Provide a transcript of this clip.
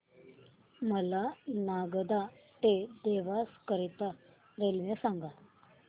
मला नागदा ते देवास करीता रेल्वे सांगा